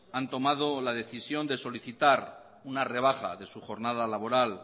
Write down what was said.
han tomado la decisión de solicitar una rebaja de su jornada laboral